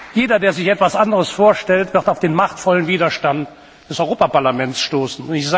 Jeder, der sich etwas anderes vorstellt, wird auf den machtvollen Widerstand des Europaparlaments stoßen.